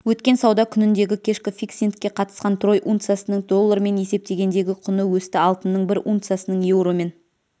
өткен сауда күніндегі кешкі фиксингке қатысты трой унциясының доллармен есептегендегі құны өсті алтынның бір унциясының еуромен